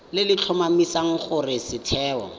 le le tlhomamisang gore setheo